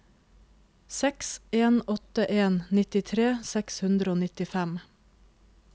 seks en åtte en nittitre seks hundre og nittifem